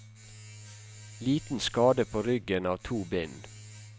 Liten skade på ryggen av to bind.